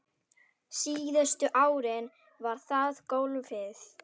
Síðustu árin var það golfið.